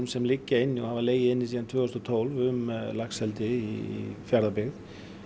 sem liggja inni og hafa legið inni síðan tvö þúsund og tólf um laxeldi í Fjarðabyggð